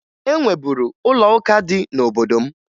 E nweburu ụlọụka dị n'obodo m